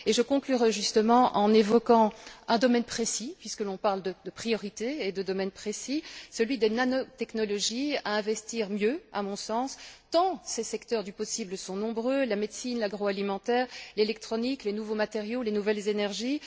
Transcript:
Je conclurai justement en évoquant un domaine précis puisque l'on parle de priorités et de domaines précis celui des nanotechnologies, qu'il convient, à mon sens, d'investir mieux, tant ces secteurs du possible sont nombreux la médecine, l'agroalimentaire, l'électronique, les nouveaux matériaux, les nouvelles énergies.